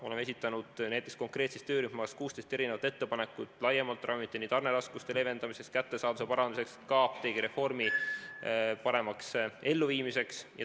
Oleme esitanud näiteks töörühmas 16 ettepanekut laiemalt ravimite tarneraskuste leevendamiseks, kättesaadavuse parandamiseks, ka apteegireformi paremaks elluviimiseks.